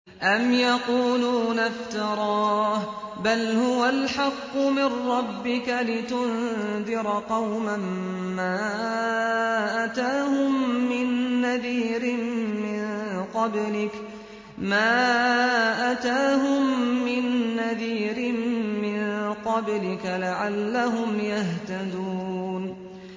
أَمْ يَقُولُونَ افْتَرَاهُ ۚ بَلْ هُوَ الْحَقُّ مِن رَّبِّكَ لِتُنذِرَ قَوْمًا مَّا أَتَاهُم مِّن نَّذِيرٍ مِّن قَبْلِكَ لَعَلَّهُمْ يَهْتَدُونَ